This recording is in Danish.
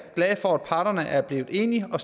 glade for at parterne er blevet enige og